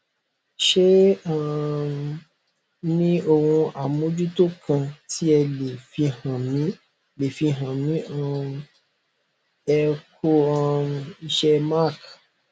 ṣe e um ní ohun amojuto kan ti ẹ le fihan mi le fihan mi um ẹ ku um iṣẹ mark